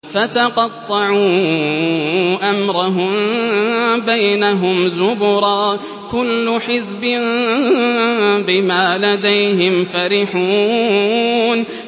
فَتَقَطَّعُوا أَمْرَهُم بَيْنَهُمْ زُبُرًا ۖ كُلُّ حِزْبٍ بِمَا لَدَيْهِمْ فَرِحُونَ